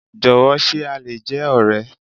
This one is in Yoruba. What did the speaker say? Jọ̀wọ́, ṣe a lè jẹ́ ọ̀rẹ́?